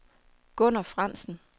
Gunner Frandsen